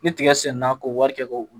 Ni tigɛ senna k'o wari kɛ ka